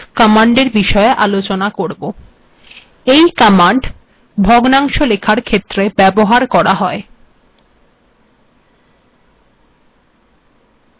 compile করা যাক